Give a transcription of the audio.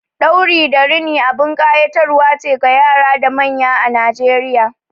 Ɗauri da rini abin ƙayatarwa ce ga yara da manya a Najeriya.